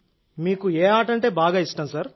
మీకు ఏ ఆట బాగా ఇష్టం సార్